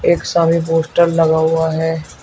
एक सामने पोस्टर लगा हुआ है।